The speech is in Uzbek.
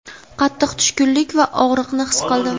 qattiq tushkunlik va og‘riqni his qildim.